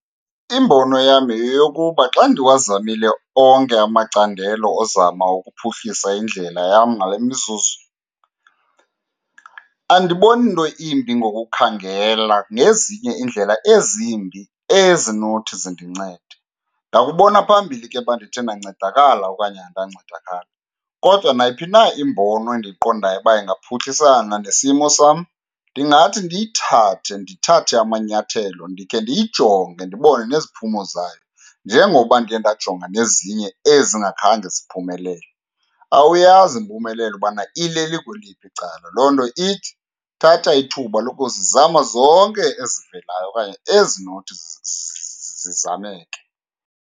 Imbono yam yeyokuba xa ndiwazamile onke amacandelo ozama ukuphuhlisa indlela yam ngale mizuzu, andiboni nto imbi ngokukhangela ngezinye iindlela ezimbi ezinothi zindincede. Ndakubona phambili ke uba ndithe ndancedakala okanye andancedakala, kodwa nayiphi na imbono endiyiqondayo uba ingaphuhlisana nesimo sam ndingathi ndiyithathe. Ndithathe amanyathelo ndikhe ndiyijonge ndibone neziphumo zayo, njengoba ndikhe ndajonga nezinye ezingakhange ziphumelele. Awuyazi impumelelo ubana ilele kweliphi icala, loo nto ithi thatha ithuba lokuzizama zonke ezivelayo okanye ezinothi zizameke.